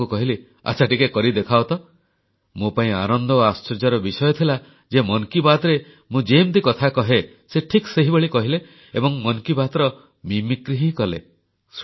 ମୁଁ ତାଙ୍କୁ କହିଲି ଆଚ୍ଛା ଟିକେ କରି ଦେଖାଅ ତ ମୋ ପାଇଁ ଆନନ୍ଦ ଓ ଆଶ୍ଚର୍ଯ୍ୟର ବିଷୟ ଥିଲା ଯେ ମନ କି ବାତରେ ମୁଁ ଯେମିତି କଥା କହେ ସେ ଠିକ୍ ସେହିଭଳି କହିଲେ ଏବଂ ମନ୍ କି ବାତର ନକଲ ହିଁ କଲେ